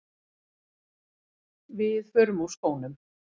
Við förum úr skónum.